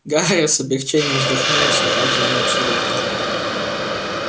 гарри с облегчением вздохнул услыхав звонок с урока